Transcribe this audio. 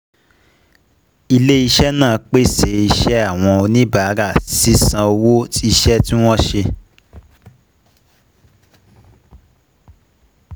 Ilè iṣẹ́ nàá pèsè iṣẹ́ àwọn oníbàárà sì san owó iṣẹ́ tí wọ́n ṣe